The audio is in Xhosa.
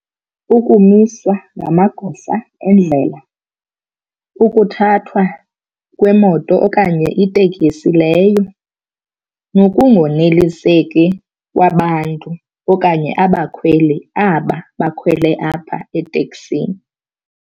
Ukumiswa ngamagosa endlela, ukuthathwa kwemoto okanye itekisi leyo nokungoneliseki kwabantu okanye abakhweli aba bakhwele apha eteksini.